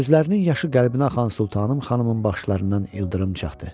Gözlərinin yaşı qəlbinə axan Sultanım xanımın baxışlarından ildırım çaxdı.